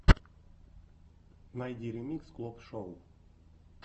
найди ремикс клоп шоу